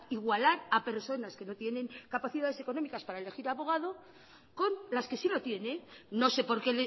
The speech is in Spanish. igualar a personas que no tienen capacidades económicas para elegir abogado con las que sí lo tienen no sé por qué